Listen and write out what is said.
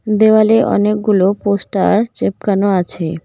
দেওয়ালে অনেকগুলো পোস্টার চেপকানো আছে।